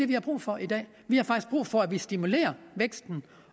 vi har brug for i dag vi har faktisk brug for at vi stimulerer væksten